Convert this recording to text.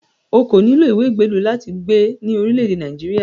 O kò nílò ìwé ìgbélú láti gbé ní orílẹ̀-èdè Nàìjíríà